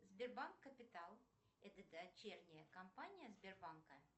сбербанк капитал это дочерняя компания сбербанка